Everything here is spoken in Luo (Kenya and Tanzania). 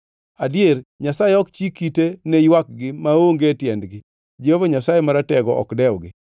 Adier, Nyasaye ok chik ite ne ywakgi maonge tiendgi Jehova Nyasaye Maratego ok dewgi.